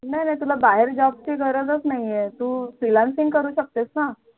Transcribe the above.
नाही नाही तुला बाहेर Job ची गरजच नाही तू Freelancing करू शकतेस ना